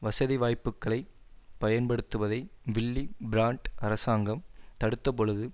வசதிவாய்ப்புக்களைப் பயன்படுத்துவதை Willy Brandt அரசாங்கம் தடுத்தபொழுது